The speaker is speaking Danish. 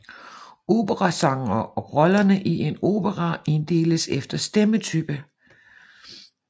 Operasangere og rollerne i en opera inddeles efter stemmetype